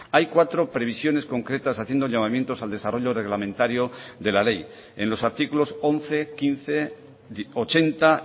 hay cuatro previsiones concretas haciendo llamamientos al desarrollo reglamentario de la ley en los artículos once quince ochenta